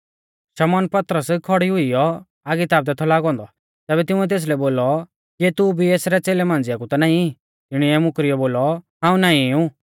शमौन पतरस खौड़ी हुइयौ आगी तापदै थौ लागौ औन्दौ तैबै तिंउऐ तेसलै बोलौ किऐ तू भी एसरै च़ेलै मांझ़िआ कु ता नाईं तिणीऐ मुकरियौ बोलौ हाऊं नाईं ऊ